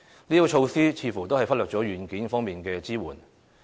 這些措施似乎都忽略了"軟件"方面的支援。